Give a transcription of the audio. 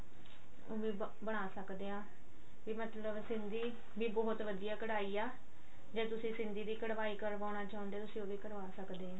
ਵੀ ਬਣਾ ਸਕਦੇ ਹਾਂ ਵੀ ਮਤਲਬ ਸਿੰਧੀ ਵੀ ਬਹੁਤ ਵਧੀਆ ਕਢਾਈ ਹੈ ਜੇ ਤੁਸੀਂ ਸਿੰਧੀ ਦੀ ਕਢਾਈ ਕਰਵਾਉਣਾ ਚਾਹੁੰਦੇ ਹੋ ਤੁਸੀਂ ਉਹ ਵੀ ਕਰਵਾ ਸਕਦੇ ਹੋ